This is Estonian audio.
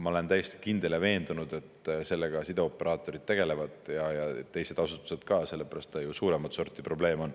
Ma olen täiesti kindel ja veendunud, et sellega sideoperaatorid tegelevad ja teised asutused ka, sellepärast et see on ju suuremat sorti probleem.